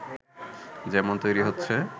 যেমন তৈরী হচ্ছে